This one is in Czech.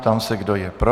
Ptám se, kdo je pro.